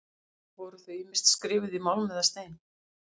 Voru þau ýmist skrifuð í málm eða stein.